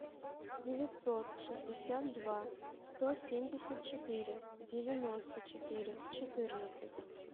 девятьсот шестьдесят два сто семьдесят четыре девяносто четыре четырнадцать